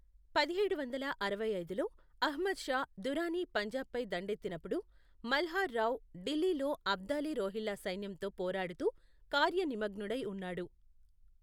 పదిహేడు వందల అరవై ఐదులో అహ్మద్ షా దురానీ పంజాబ్పై దండెత్తినప్పుడు, మల్హర్ రావు ఢిల్లీలో అబ్దాలీ రోహిల్లా సైన్యంతో పోరాడుతూ కార్య నిమగ్నుడై ఉన్నాడు.